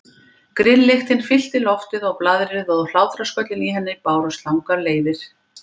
Grilllyktin fyllti loftið og blaðrið og hlátrasköllin í henni bárust langar leiðir.